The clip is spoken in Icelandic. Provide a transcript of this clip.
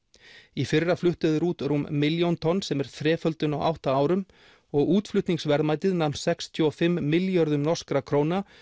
í fyrra fluttu þeir út rúm milljón tonn sem er þreföldun á átta árum og útflutningsverðmætið nam sextíu og fimm milljörðum norskra króna